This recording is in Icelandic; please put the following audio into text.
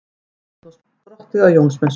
Lásagrasið verður þá sprottið á Jónsmessunótt.